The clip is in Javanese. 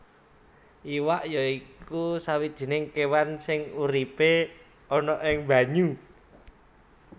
Iwak ya iku sawijining kéwan sing uripé ana ing banyu